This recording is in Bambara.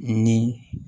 Ni